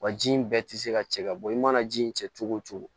Wa ji in bɛɛ tɛ se ka cɛ ka bɔ i mana ji in cɛ cogo o cogo